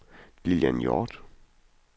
Lilian Hjort